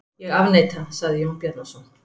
Ég afneita, sagði Jón Bjarnason.